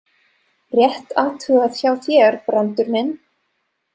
Rétt athugað hjá þér, Brandur minn!